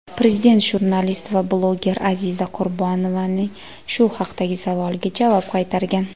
Prezident jurnalist va bloger Aziza Qurbonovaning shu haqdagi savoliga javob qaytargan.